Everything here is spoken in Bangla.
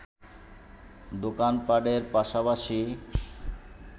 দোকান পাটের পাশাপাশি